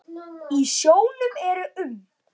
Í sjónum eru um